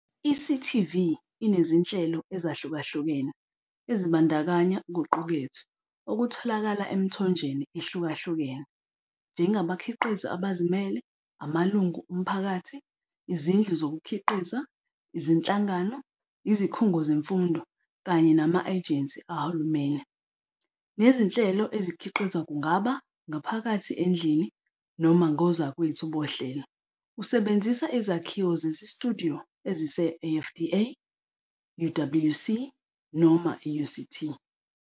I-CTV inezinhlelo ezahlukahlukene ezibandakanya okuqukethwe okutholakala emithonjeni ehlukahlukene, njengabakhiqizi abazimele, amalungu omphakathi, izindlu zokukhiqiza, izinhlangano, izikhungo zemfundo kanye nama-ejensi kahulumeni, nezinhlelo ezikhiqizwa kungaba 'ngaphakathi endlini' noma ngozakwethu bohlelo usebenzisa izakhiwo zesitudiyo ezise-AFDA, UWC noma i-UCT.